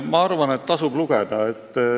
Ma arvan, et tasub lugeda.